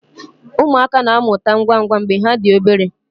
Ụmụaka na-amụta ngwa ngwa mgbe ha dị obere